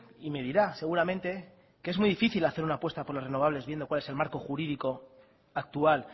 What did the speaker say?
y me dirá seguramente que es muy difícil hacer una apuesta por las renovables viendo cuál es el marco jurídico actual